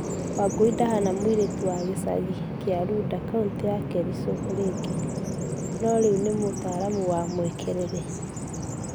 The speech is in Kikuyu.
Wangui rĩu ndahana mũirĩtu wa gĩcagi kia runda county ya kericho rege no rĩu ni mũtaramu wa mwekerere.